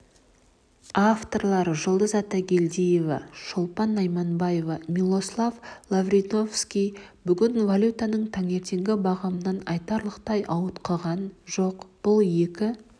авторлары жұлдыз атагельдиева шолпан найманбаева милослав лавриновский бүгін валютасы таңертеңгі бағамынан айтарлықтай ауытқыған жоқ бұл екі